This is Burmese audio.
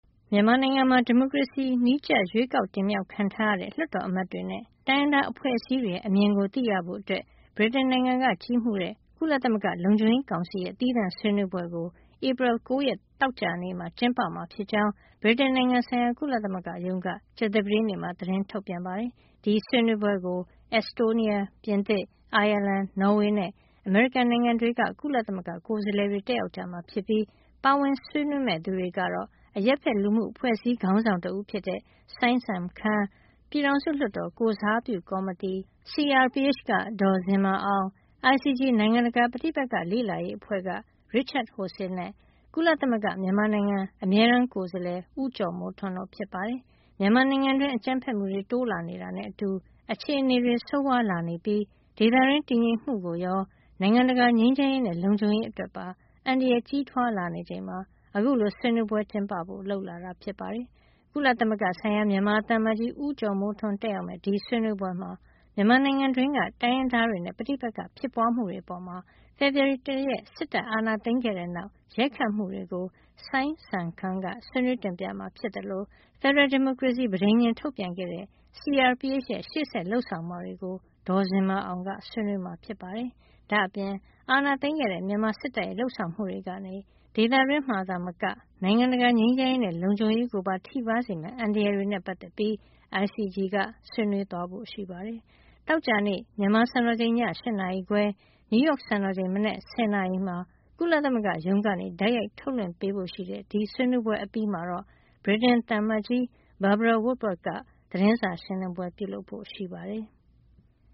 မြန်မာနိုင်ငံမှာ ဒီမိုကရေစီနည်းကျ ရွေးကောက်တင်မြောက်ခံထားရတဲ့ လွှတ်တော်အမတ်တွေနဲ့ တိုင်းရင်းသားအဖွဲ့အစည်းတွေရဲ့ အမြင်ကို သိရဖို့ ဗြိတိန်နိုင်ငံက ကြီးမှုးတဲ့ ကုလသမဂ္ဂလုံခြုံရေး ကောင်စီရဲ့ သီးသန့်ဆွေးနွေးပွဲကို ဧပြီလ ၉ ရက် သောကြာနေ့မှာ ကျင်းပမှာ ဖြစ်ကြောင်း ဗြိတိန်နိုင်ငံဆိုင်ရာ ကုလသမဂ္ဂရုံးက ကြာသပတေးနေ့မှာ သတင်းထုတ်ပြန်ပါတယ်။ ဒီဆွေးနွေးပွဲကို Estonia ၊ ပြင်သစ်၊ အိုင်ယာလန်၊ နော်ဝေနဲ့ အမေရိကန်နိုင်ငံတွေက ကုလသမဂ္ဂကိုယ်စားလှယ်တွေ တက်ရောက်မှာ ဖြစ်ပြီး ပါဝင်ဆွေးနွေးမယ့် သူတွေကတော့ အရပ်ဖက် လူမှုအဖွဲ့အစည်းခေါင်းဆောင် တဦးဖြစ်တဲ့ စိုင်းစံခမ်း၊ ပြည်ထောင်စုလွှတ်တော် ကိုယ်စားပြုကော်မတီ CRPH က ဒေါ်ဇင်မာအောင်၊ ICG နိုင်ငံတကာ ပဋိပက္ခလေ့လာရေးအဖွဲ့က Richard Horsey နဲ့ ကုလသမဂ္ဂ မြန်မာနိုင်ငံအမြဲတမ်းကိုယ်စားလှယ် ဦးကျော်မိုးထွန်း တို့ဖြစ်ပါတယ်။ မြန်မာနိုင်ငံတွင်း အကြမ်းဖက်မှုတွေ တိုးလာနေတာနဲ့ အတူ အခြေနေတွေ ဆိုးဝါးလာနေပြီး ဒေသတွင်း တည်ငြိမ်မှုကိုရော နိုင်ငံတရာငြိမ်းချမ်းရေးနဲ့ လုံခြုံရေးအတွက်ပါ အန္တရာယ်ကြီးထွား လာနေချိန်မှာ အခုလို ဆွေးနွေးပွဲ ကျင်းပဖို့ လုပ်လာတာ ဖြစ်ပါတယ်။ ကုလဆိုင်ရာ မြန်မာသံအမတ်ကြီး ဦးကျော်မိုးထွန်း တက်ရောက်မယ့် ဒီဆွေးနွေးပွဲမှာ မြန်မာနိုင်ငံတွင်းက တိုင်းရင်းသားတွေနဲ့ ပဋိပက္ခဖြစ်ပွားမှုတွေ အပေါ်မှာ ဖေဖေါ်ဝါရီလ တရက် စစ်တပ်က အာဏာသိမ်းခဲ့တဲ့နောက် ရိုက်ခတ်မှုတွေကို စိုင်းစံခမ်းက ဆွေးနွေးတင်ပြမှာ ဖြစ်သလို ဖက်ဒရယ် ဒီမိုကရေစီ ပဋိဉာဉ် ထုတ်ပြန်ခဲ့တဲ့ CRPH ရဲ့ ရှေ့ဆက် လုပ်ဆောင်မှာတွေကို ဒေါ်ဇင်မာအောင်က ဆွေးနွေးမှာဖြစ်ပါတယ်။ ဒါ့အပြင် အာဏာသိမ်းခဲ့တဲ့ မြန်မာစစ်တပ်ရဲ့ လုပ်ဆောင်မှုတွေကနေ ဒေသတွင်းမှာသာမက နိုင်ငံတကာ ငြိမ်းချမ်းရေးနဲ့ လုံခြုံရေးကို ထိပါးစေမယ့် အန္တရာယ်တွေနဲ့ ပတ်သက်ပြီး ICG က ဆွေးနွေးဖို့ ရှိပါတယ်။ သောကြာနေ့ မြန်မာစံတော်ချိန် ည ၈နာရီခွဲ၊ နယူးရောက်စံတော်ချိန် မနက် ၁၀ နာရီမှာ ကုလမဂ္ဂရုံးကနေ တိုက်ရိုက်ထုတ်လွှင့်ပေးဖို့ရှိတဲ့ ဒီဆွေးနွေးပွဲအပြီးမှာတော့ ဗြိတိန် သံအမတ်ကြီး Barbara Woodward က သတင်းစာရှင်းလင်းပွဲ ပြုလုပ်ဖို့ရှိပါတယ်။